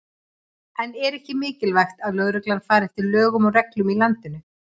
En er ekki mikilvægt að lögreglan fari eftir lögum og reglum í landinu?